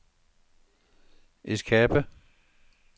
escape